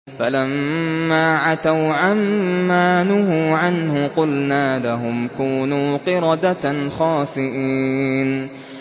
فَلَمَّا عَتَوْا عَن مَّا نُهُوا عَنْهُ قُلْنَا لَهُمْ كُونُوا قِرَدَةً خَاسِئِينَ